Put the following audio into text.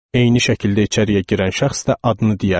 Eyni şəkildə içəriyə girən şəxs də adını deyərdi.